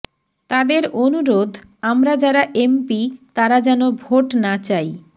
তাদের অনুরোধ আমরা যারা এমপি তারা যেন ভোট না চাই